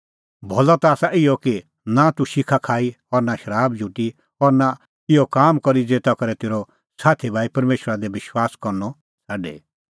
भलअ ता आसा इहअ कि नां तूह शिखा खाई और नां शराब झुटी और नां इहअ काम करी ज़ेता करै तेरअ साथी भाई परमेशरा दी विश्वास करनअ छ़ाडे